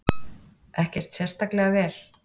Ekkert sérstaklega vel.